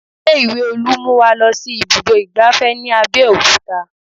Ilé ìwé Olú mú wa lọ sí ibùdó ìgbáfẹ́ ní Abeokuta